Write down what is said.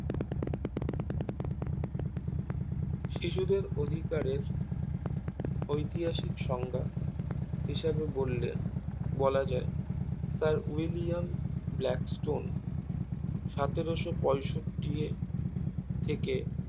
শিশুদের অধিকারের ঐতিহাসিক সংজ্ঞা হিসাবে বললে বলা যায় স্যার উইলিয়ন ব্ল্যাক স্টোন সতেরোশো পঁয়ষট্টি থেকে